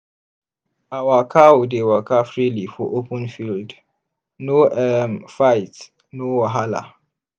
our cow dey waka freely for open field no um fight no wahala.